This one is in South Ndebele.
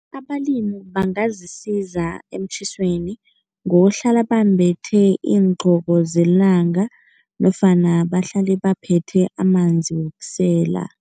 Abalimi bangazisiza emtjhisweni ngokuhlala bambethe iingqoko zelanga nofana bahlale baphethe amanzi wokusela.